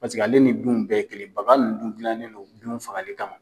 Paseke ale ni binw bɛɛ ye kelen bagan nun dun gilanen do binw fagali kama.